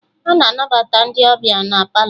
Ana anabata ndị ọbịa na Palọ